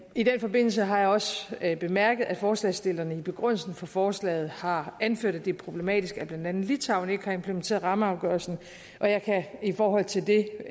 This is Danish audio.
i den forbindelse har jeg også bemærket at forslagsstillerne i begrundelsen for forslaget har anført at det er problematisk at blandt andet litauen ikke har implementeret rammeafgørelsen og jeg kan i forhold til det